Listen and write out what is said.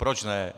Proč ne?